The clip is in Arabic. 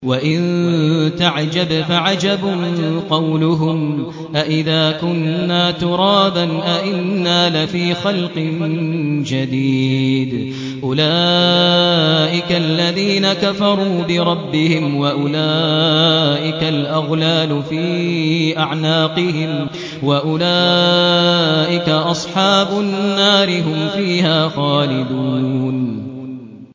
۞ وَإِن تَعْجَبْ فَعَجَبٌ قَوْلُهُمْ أَإِذَا كُنَّا تُرَابًا أَإِنَّا لَفِي خَلْقٍ جَدِيدٍ ۗ أُولَٰئِكَ الَّذِينَ كَفَرُوا بِرَبِّهِمْ ۖ وَأُولَٰئِكَ الْأَغْلَالُ فِي أَعْنَاقِهِمْ ۖ وَأُولَٰئِكَ أَصْحَابُ النَّارِ ۖ هُمْ فِيهَا خَالِدُونَ